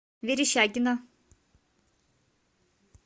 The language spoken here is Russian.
верещагино